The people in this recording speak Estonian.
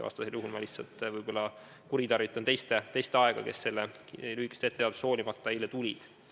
Vastasel juhul ma võib-olla lihtsalt kuritarvitan teiste aega, kes sellest lühikesest etteteatamisajast hoolimata eile kohale tulid.